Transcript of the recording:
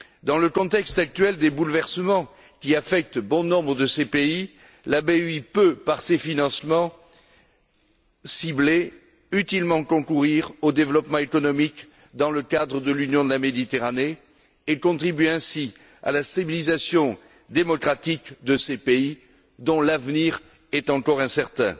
Dans le contexte actuel des bouleversements qui affectent bon nombre de ces pays, la BEI peut, par ses financements ciblés, utilement concourir au développement économique dans le cadre de l'Union pour la Méditerranée et contribuer ainsi à la civilisation démocratique de ces pays dont l'avenir est encore incertain.